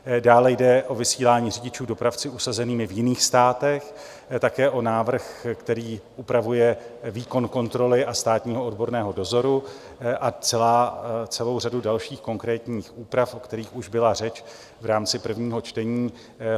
Dále jde o vysílání řidičů dopravci usazenými v jiných státech, také o návrh, který upravuje výkon kontroly a státního odborného dozoru a celou řadu dalších konkrétních úprav, o kterých už byla řeč v rámci prvního čtení.